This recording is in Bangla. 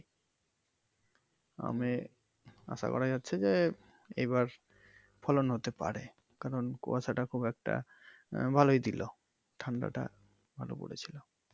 আমে আশা করা যাচ্ছে যে এইবার ফলন হতে পারে কারন কুয়াশাটা খুব একটা আহ ভালোই ছিলো ঠান্ডা টা ভালো পরেছিলো।